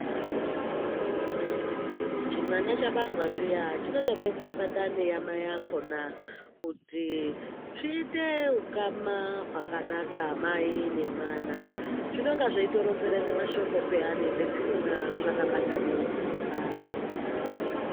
Chimwana chabarwa zviya, chinotobekwe pandame yamai akhona kuti svite hhukama hwakanaka, mai nemwana. Zvinonge zvayitoronzere nemashoko peyane pazvinonga zvakabatana nekudaro.